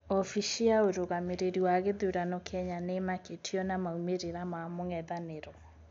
Obici ya ũrũgamireri wa githurano Kenya niimakitio na maumĩrĩra ma mũng'ethaniro.